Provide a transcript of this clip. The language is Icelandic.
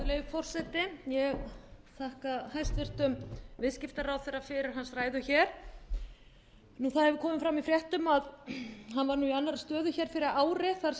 forseti ég þakka hæstvirtum viðskiptaráðherra fyrir hans ræðu það hefur komið fram í fréttum að hann var mjög í annarri stöðu fyrir ári þar